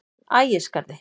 Ægisgarði